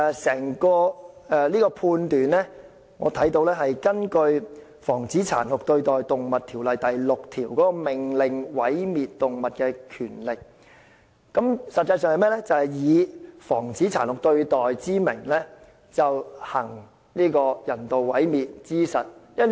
這個判斷是根據《防止殘酷對待動物條例》第6條"命令毀滅動物的權力"，以"防止殘酷對待"之名，行人道毀滅之實。